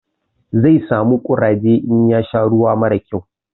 Zai samu ƙuraje in ya sha ruwa mara kyau.